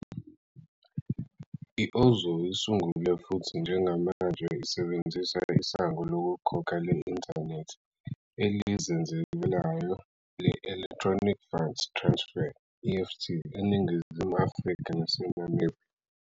I-Ozow isungule futhi njengamanje isebenzisa isango lokukhokha le-inthanethi elizenzakalelayo le-Electronic Funds Transfer, EFT, eNingizimu Afrika naseNamibia.